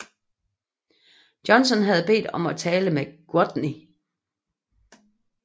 Johnson havde bedt om at tale med Gwatney